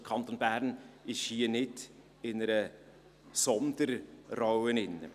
Der Kanton Bern nimmt hier also nicht eine Sonderrolle ein.